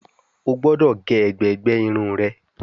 o gbódò ge ègbé gbé Irun rẹ!